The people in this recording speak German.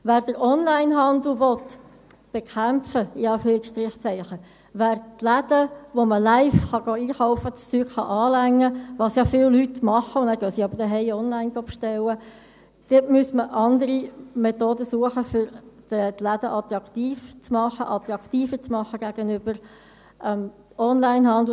Um den Onlinehandel zu «bekämpfen», die Läden zu stärken, wo man live einkaufen gehen und die Dinge berühren kann – das tun ja viele Leute und nachher bestellen sie zu Hause online –, müsste man andere Methoden suchen, um die Läden attraktiv zu machen, attraktiver zu machen gegenüber dem Onlinehandel.